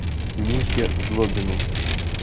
михе злобину